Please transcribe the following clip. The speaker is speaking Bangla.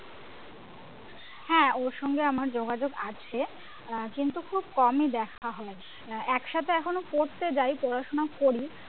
হ্যাঁ ওর সঙ্গে আমার যোগাযোগ আছে আহ কিন্তু খুব কমই দেখা হয় আহ একসাথে এখনও পড়তে যাই পড়াশোনা করি